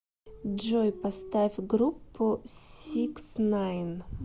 джой поставь группу сикснайн